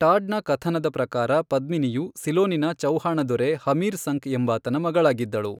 ಟಾಡ್ನ ಕಥನದ ಪ್ರಕಾರ, ಪದ್ಮಿನಿಯು ಸಿಲೋನಿನ ಚೌಹಾಣ ದೊರೆ ಹಮೀರ್ ಸಂಕ್ ಎಂಬಾತನ ಮಗಳಾಗಿದ್ದಳು.